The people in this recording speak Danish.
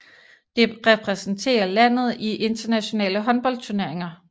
Det repræsenterer landet i internationale håndboldturneringer